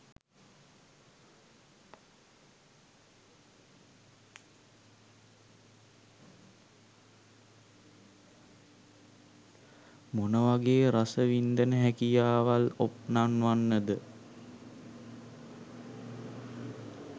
මොනවගේ රසව්න්දන හැකියාවල් ඔප් නන්වන්නද?